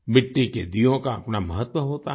मिट्टी के दीयों का अपना महत्व होता है